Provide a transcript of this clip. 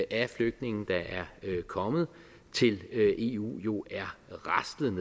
af flygtninge der er kommet til eu er raslet